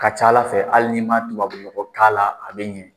Ka ca ala fɛ hali n'i ma tubabunɔgɔ k'a la a bɛ ɲɛ.